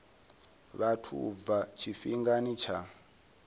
vhathu u bva tshifhingani tsha